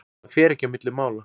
Það fer ekki á milli mála.